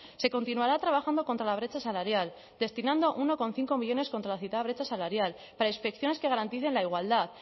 se continuará trabajando contra la brecha salarial destinando uno coma cinco millónes contra la citada brecha salarial para inspecciones que garanticen la igualdad